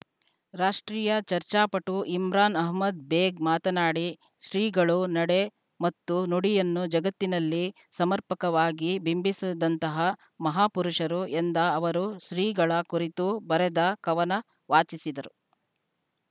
ರಾಷ್ಟ್ರೀಯ ಚರ್ಚಾಪಟು ಇಮ್ರಾನ್‌ ಅಹಮದ್‌ ಬೇಗ್‌ ಮಾತನಾಡಿ ಶ್ರೀಗಳು ನಡೆ ಮತ್ತು ನುಡಿಯನ್ನು ಜಗತ್ತಿನಲ್ಲಿ ಸಮರ್ಪಕವಾಗಿ ಬಿಂಬಿಸಿದಂತಹ ಮಹಾಪುರುಷರು ಎಂದ ಅವರು ಶ್ರೀಗಳ ಕುರಿತು ಬರೆದ ಕವನ ವಾಚಿಸಿದರು